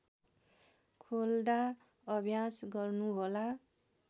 खोल्दा अभ्यास गर्नुहोला